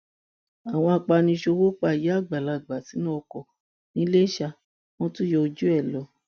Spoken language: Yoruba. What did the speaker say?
àwọn apaniṣòwò pa ìyá àgbàlagbà sínú ọkọ ńiléṣà wọn tún yọ ojú ẹ lọ